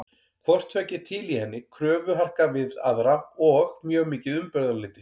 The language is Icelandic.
Hvort tveggja er til í henni, kröfuharka við aðra og mjög mikið umburðarlyndi.